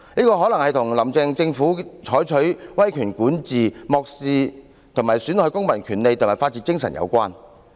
這可能是與"林鄭"政府採取威權管治、漠視及損害公民權利和法治精神有關。